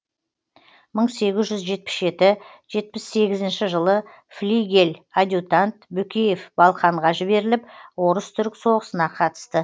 мың сегіз жүз жетпіс жеті жетпіс сегізінші жылы флигель адъютант бөкеев балқанға жіберіліп орыс түрік соғысына қатысты